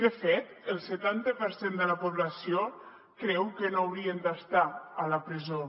de fet el setanta per cent de la població creu que no haurien d’estar a la presó